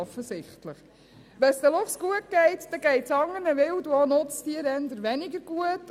Wenn es den Luchsen gut geht, geht es anderen Wild- und Nutztieren eher weniger gut.